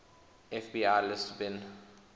fbi lists bin